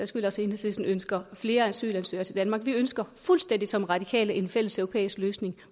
skyld også enhedslisten ønsker flere asylansøgere til danmark vi ønsker fuldstændig som radikale en fælleseuropæisk løsning